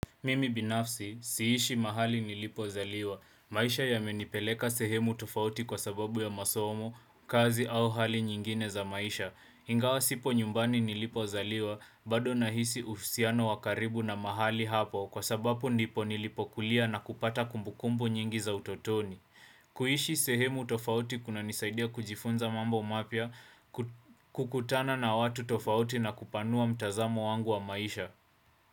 Mimi binafsi, siishi mahali nilipozaliwa. Maisha yamenipeleka sehemu tofauti kwa sababu ya masomo, kazi au hali nyingine za maisha. Ingawa sipo nyumbani nilipozaliwa, bado nahisi uhusiano wa karibu na mahali hapo kwa sababu ndipo nilipo kulia na kupata kumbukumbu nyingi za utotoni. Kuishi sehemu tofauti kunanisaidia kujifunza mambo mapya. Kukutana na watu tofauti na kupanua mtazamo wangu wa maisha.